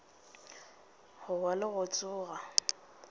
go wa le go tsoga